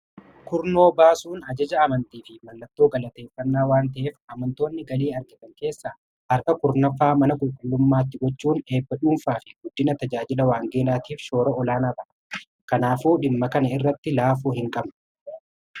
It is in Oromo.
Kurnoo baasuun ajaja amantiifi mallattoo galateeffannaa waanta'eef amantoonni galii argatan keessaa harka kurnaffaa mana qulqullummaatti galchuun eebba dhuunfaafi guddina tajaajila waangeelaatiif shoora olaanaa qaba. Kanaafuu dhimma kana irratti laafuu hinqabnu.